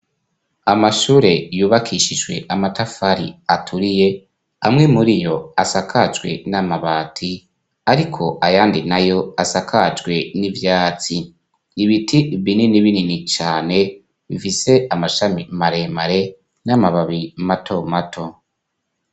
Amashure yubakishijwe amatafari aturiye, amwe muri yo asakajwe n'amabati, ariko ayandi na yo asakajwe n'ivyatsi. Ibiti binini binini cane, bifise amashami maremare n'amababi mato mato.